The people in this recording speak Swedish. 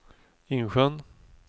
Insjön